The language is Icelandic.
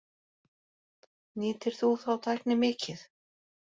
Nýtir þú þá tækni mikið?